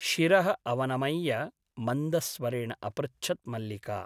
शिरः अवनमय्य मन्दस्वरेण अपृच्छत् मल्लिका ।